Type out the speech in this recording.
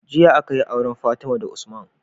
Jiya akayi auren fatima da usman